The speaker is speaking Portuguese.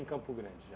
Em Campo Grande, já.